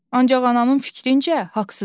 Ancaq anamın fikrincə haqsızam.